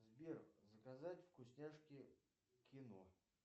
сбер заказать вкусняшки кино